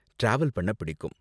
travel பண்ண பிடிக்கும்